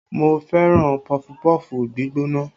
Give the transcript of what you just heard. Mo fẹ́ràn pọfupọ́ọ̀fù gbígbóná